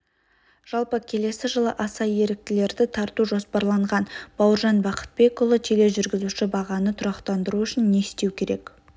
жалпы келесі жылы аса еріктілерді тарту жоспарланған бауыржан бақытбекұлы тележүргізуші бағаны тұрақтандыру үшін не істеу керек